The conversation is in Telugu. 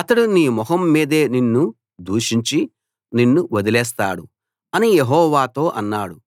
అతడు నీ మొహం మీదే నిన్ను దూషించి నిన్ను వదిలేస్తాడు అని యెహోవాతో అన్నాడు